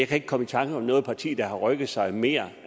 kan komme i tanke om noget parti der har rykket sig mere